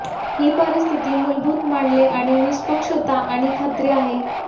ही परिस्थिती मूलभूत मानले आणि निष्पक्षता आणि खात्री आहे